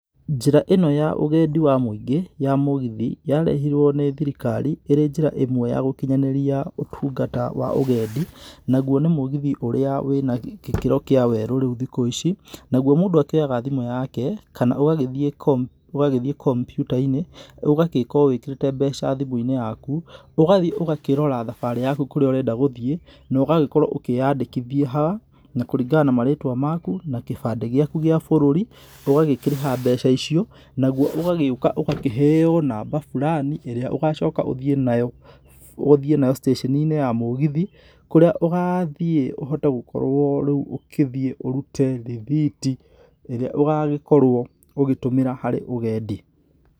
Njĩra ĩno ya ũgendi wa mwĩingĩ, ya mũgithi, yarehirwo nĩ thirikari, ĩrĩ njĩra ĩmwe ya gũkinyanĩria ũtungata wa ũgendi, nagwo nĩ mũgithi ũrĩa wĩ nagĩkĩro kĩa werũ rĩu thikũ ici, nagwo mũndũ akĩoyaga thimũ yake, kana ũgagĩthiĩ kompu ũgagĩthiĩ komputa-inĩ, ũgagĩkorwo wĩkĩrĩte mbeca thimũ - inĩ yaku, ũgathiĩ ũgakĩrora thambarĩ yaku kũriĩ urenda gũthiĩ, no ũgagĩkorwo ũkĩandĩkithia ha, na kũringana na marĩtwa maku na gĩbandĩ gĩaku gĩa bũrũri, ũgagĩkĩrĩha mbeca icio, nagwo ũgagĩoka ũgakĩheyo namba furani ĩria ũgagĩcoka ũthiĩ nayo, ũthiĩ nayo, citatoninĩ ya mũgithi, kuria ũgathiĩ ũhote gũkorwo rĩu ũgĩthiĩ ũrĩu rĩthiti, ĩria ũgagĩkorwo ũgĩtũmira harĩ ũgendi.